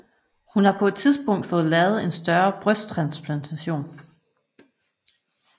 Hun har på et tidspunkt fået lavet en større brysttransplantation